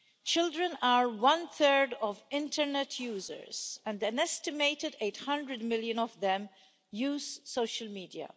Children are one third of internet users and an estimated 800 million of them use social media.